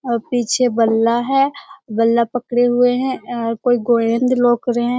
और पीछे बल्ला है। बल्ला पड़े हुए हैं। अ कोई रहे हैं ।